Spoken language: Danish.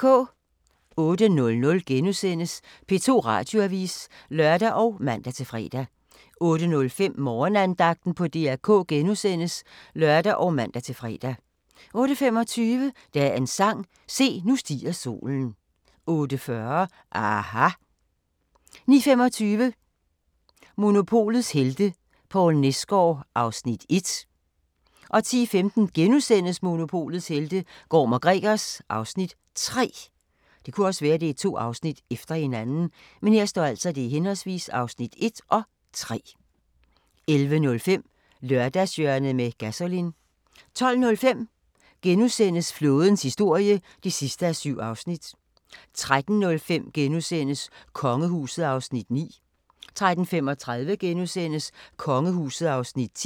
08:00: P2 Radioavis *(lør og man-fre) 08:05: Morgenandagten på DR K *(lør og man-fre) 08:25: Dagens sang: Se, nu stiger solen 08:40: aHA! 09:25: Monopolets helte - Poul Nesgaard (Afs. 1) 10:15: Monopolets helte - Gorm & Gregers (Afs. 3)* 11:05: Lørdagshjørnet med Gasolin 12:05: Flådens historie (7:7)* 13:05: Kongehuset (Afs. 9)* 13:35: Kongehuset (Afs. 10)*